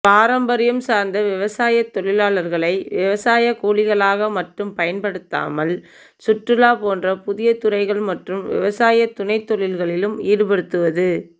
பாரம்பரியம் சார்ந்த விவசாயத் தொழிலாளர்களை விவசாயக்கூலிகளாக மட்டும் பயன்படுத்தாமல் சுற்றுலா போன்ற புதிய துறைகள் மற்றும் விவசாய துணைத்தொழில்களிலும் ஈடுபடுத்துவது